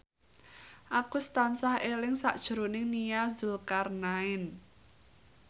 Agus tansah eling sakjroning Nia Zulkarnaen